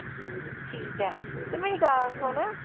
ਠੀਕ ਆ ਤੇ ਮੇਰੀ ਗਲ ਸੁਣ।